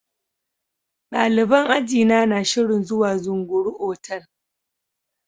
Daliban ajina na shirin zuwa Zunguru otal.